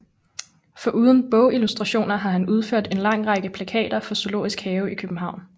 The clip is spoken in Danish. Foruden bogillustrationer har han udført en lang række plakater for Zoologisk Have i København